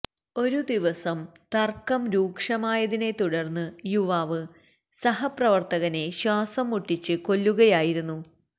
ഒരു ദിവസം തര്ക്കം രൂക്ഷമായതിനെ തുടര്ന്ന് യുവാവ് സഹപ്രവര്ത്തകനെ ശ്വാസം മുട്ടിച്ച് കൊല്ലുകയായിരുന്നു